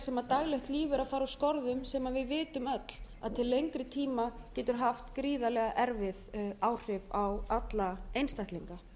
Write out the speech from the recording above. sem daglegt líf er að fara úr skorðum sem við vitum öll að til lengri tíma getur haft gríðarlega erfið áhrif á alla einstaklinga